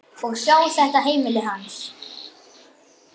Og sjá þetta heimili manns.